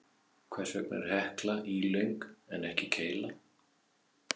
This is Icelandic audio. Hvers vegna er Hekla ílöng en ekki keila?